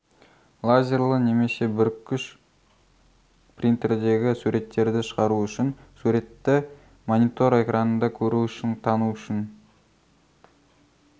лазерлі немесе бүріккіш принтердегі суреттерді шығару үшін суретті монитор экранында көру үшін тану үшін